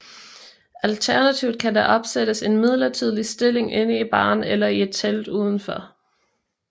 Alternativt kan der opsættes en midlertidig stilling inde i baren eller i et telt udenfor